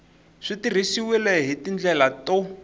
swi tirhisiwile hi tindlela to